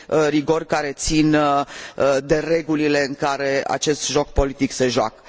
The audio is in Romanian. rigori ce țin de regulile în care acest joc politic se joacă.